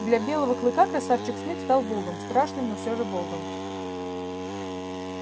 для белого клыка красавчик смит стал богом страшным но всё же богом